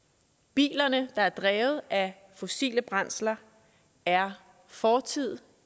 bilerne der er drevet af fossile brændsler er fortid